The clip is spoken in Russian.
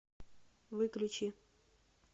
выключи